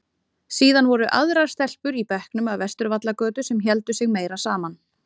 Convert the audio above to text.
Síðan voru aðrar stelpur í bekknum af Vesturvallagötu sem héldu sig meira saman.